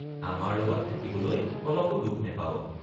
আমাৰ লগত থাকিবলৈ অলপো দুখ নেপাৱ।